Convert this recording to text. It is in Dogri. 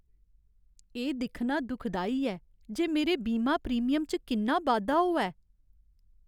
एह् दिक्खना दुखदाई ऐ जे मेरे बीमा प्रीमियम च किन्ना बाद्धा होआ ऐ।